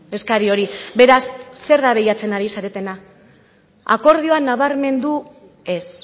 eskari hori beraz zer da bilatzen ari zaretena akordioa nabarmendu ez